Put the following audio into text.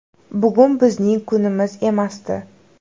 Bugun bizning kunimiz emasdi.